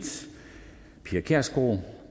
pia kjærsgaard